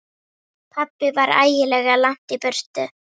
Pabbi var ægilega langt í burtu.